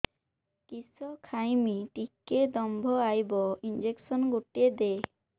କିସ ଖାଇମି ଟିକେ ଦମ୍ଭ ଆଇବ ଇଞ୍ଜେକସନ ଗୁଟେ ଦେ